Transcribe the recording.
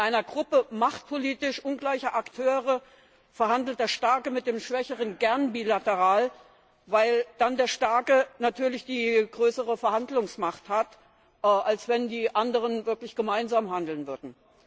In einer Gruppe machtpolitisch ungleicher Akteure verhandelt der Starke mit dem Schwächeren gern bilateral, weil dann der Starke natürlich die größere Verhandlungsmacht hat, als wenn die anderen wirklich gemeinsam handeln würden.